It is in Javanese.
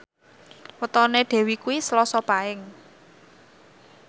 wetone Dewi kuwi Selasa Paing